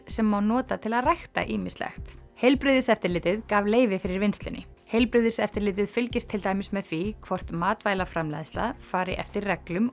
sem má nota til að rækta ýmislegt heilbrigðiseftirlitið gaf leyfi fyrir vinnslunni heilbrigðiseftirlitið fylgist til dæmis með því hvort matvælaframleiðsla fari eftir reglum